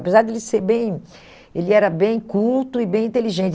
Apesar de ele ser bem... Ele era bem culto e bem inteligente.